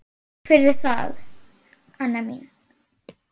Takk fyrir það, Anna mín.